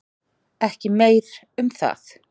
Ekki meir um það.